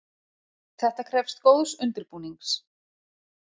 Þetta krefst góðs undirbúnings.